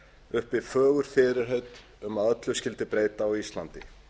uppi fögur fyrirheit um að öllu skyldi breyta á íslandi